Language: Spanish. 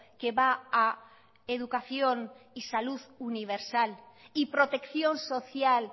que va a educación y salud universal y protección social